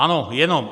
Ano, jenom.